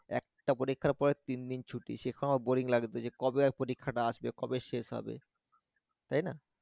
একটা পরীক্ষার পরে তিনদিন ছুটি সেটাও boring লাগতো যে কবে আর পরীক্ষাটা আসবে? কবে শেষ হবে? তাই না?